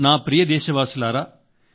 నా ప్రియమైన నాదేశవాసుల్లారా